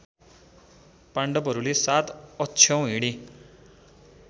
पाण्डवहरूले ७ अक्षौहिणी